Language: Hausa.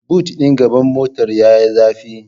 Bot din gaban motar yayi zafi